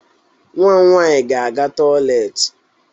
Nwa m nwaanyị ga-aga toịletị.